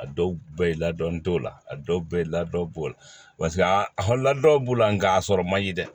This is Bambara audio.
A dɔw la ladɔnni t'o la a dɔw bɛ ye ladɔn b'o la b'o la nka a sɔrɔ man di dɛ